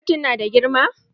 Kotun na da girma?